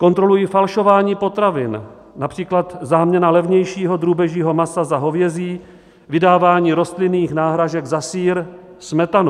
Kontrolují falšování potravin, například záměnu levnějšího drůbežího masa za hovězí, vydávání rostlinných náhražek za sýr, smetanu.